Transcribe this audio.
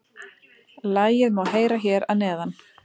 Lagið má heyra hér að neðan